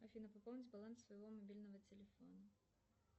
афина пополнить баланс своего мобильного телефона